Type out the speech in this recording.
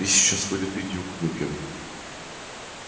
ты сейчас вылитый дюк нюкем